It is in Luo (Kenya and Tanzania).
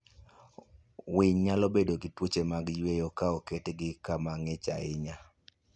Winy nyalo bedo gi tuoche mag yweyo ka oketgi kama ng'ich ahinya.